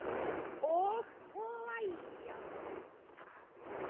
Og hlæja.